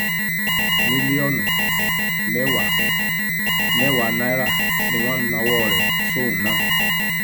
mílíọ̀nù mẹ́wàá mẹ́wàá náírà ni wọ́n nawọ́ rẹ̀ sóun náà